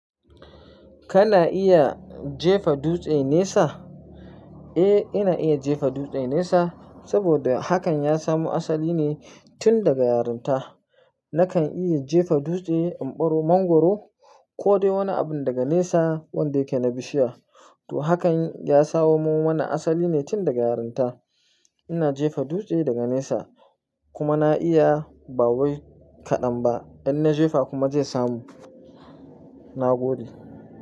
Kana iya jefa dutse nesa? Eh, ina iya jefa dutse nesa saboda hakan ya samu asali ne tun daga yarinta. Nakan iya jefa dutse, in ɓaro, mangwaro ko dai wani abin daga nesa wanda yake na bishiya. To hakan ya sawo min wani asali ne tun daga yarinta. Ina jefa dutse daga nesa kuma na iya ba wai kaɗan ba. In na jefa kuma zai samu, na gode.